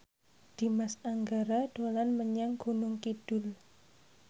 Dimas Anggara dolan menyang Gunung Kidul